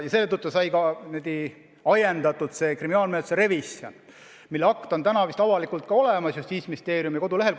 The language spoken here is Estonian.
Selle tõttu saigi algatatud kriminaalmenetluse revisjon, mille akt on vist avalikult ka olemas Justiitsministeeriumi kodulehel.